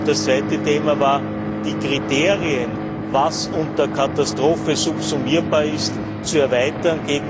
Das zweite Thema war, die Kriterien, was unter Katastrophe subsummierbar ist, zu erweitern.